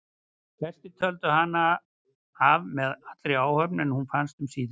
Flestir töldu hana af með allri áhöfn en hún fannst um síðir.